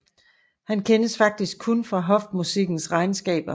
Han kendes faktisk kun fra hofmusikkens regnskaber